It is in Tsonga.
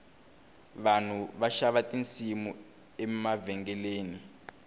vanhu va xava tinsimu emavhengeleni